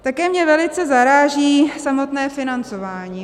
Také mě velice zaráží samotné financování.